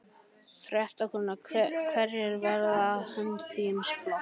Fréttakona: Hverjir verða það fyrir hönd þíns flokks?